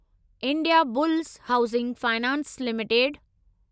Indiabulls housing finance limited